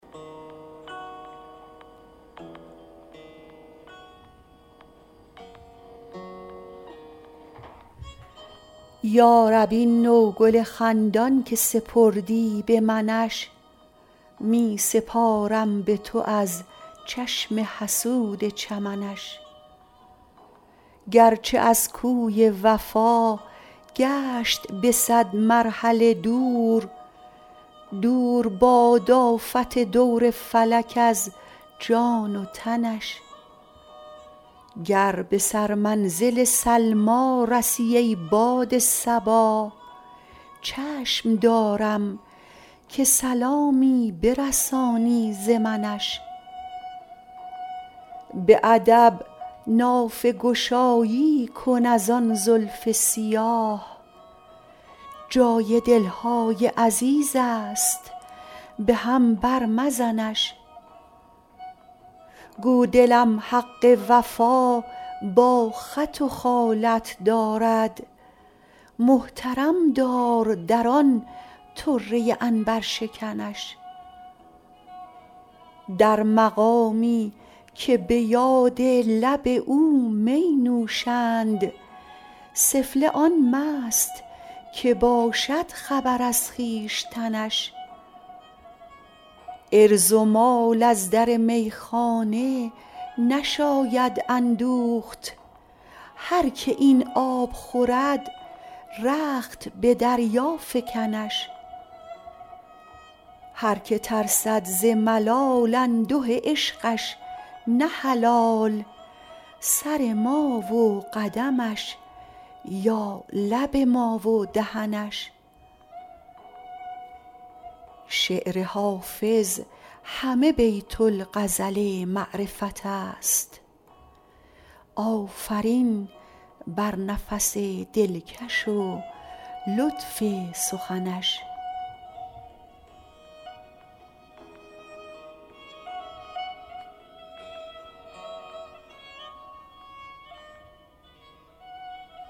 یا رب این نوگل خندان که سپردی به منش می سپارم به تو از چشم حسود چمنش گرچه از کوی وفا گشت به صد مرحله دور دور باد آفت دور فلک از جان و تنش گر به سرمنزل سلمی رسی ای باد صبا چشم دارم که سلامی برسانی ز منش به ادب نافه گشایی کن از آن زلف سیاه جای دل های عزیز است به هم بر مزنش گو دلم حق وفا با خط و خالت دارد محترم دار در آن طره عنبرشکنش در مقامی که به یاد لب او می نوشند سفله آن مست که باشد خبر از خویشتنش عرض و مال از در میخانه نشاید اندوخت هر که این آب خورد رخت به دریا فکنش هر که ترسد ز ملال انده عشقش نه حلال سر ما و قدمش یا لب ما و دهنش شعر حافظ همه بیت الغزل معرفت است آفرین بر نفس دلکش و لطف سخنش